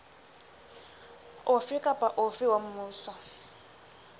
ofe kapa ofe wa mmuso